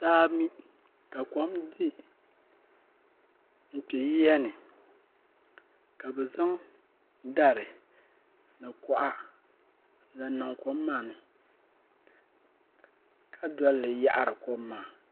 Saa niŋ ka kom di nkpɛ yiya ni ka bi zaŋ dari ni kuɣa n-zaŋ niŋ kom maa ni ka doli li yaɣiri kom maa.